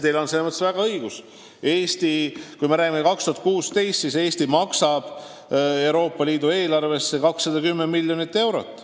Teil on selles mõttes õigus, et aastal 2016 Eesti maksis Euroopa Liidu eelarvesse 210 miljonit eurot.